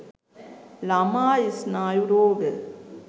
ළමා ස්නායු රෝග